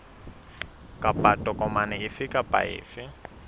kapa tokomane efe kapa efe